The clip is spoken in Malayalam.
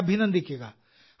അവരെ അഭിനന്ദിക്കുക